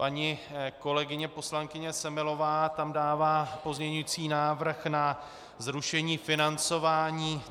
Paní kolegyně poslankyně Semelová tam dává pozměňovací návrh na zrušení financování